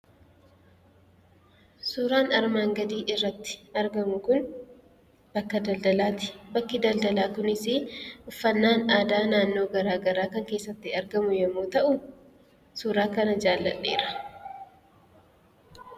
Suuraan armaan gadii irratti argamu kun, bakka daldalaati. Bakki daldalaa kunisi uffannaan aadaa naannoo garagaraa kan keessatti argamu yommuu ta'u, suuraa kana jaaladheera.